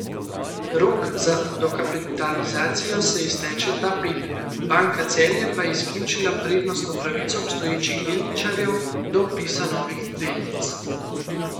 Rok za dokapitalizacijo se izteče ta petek, Banka Celje pa je izključila prednostno pravico obstoječih delničarjev do vpisa novih delnic.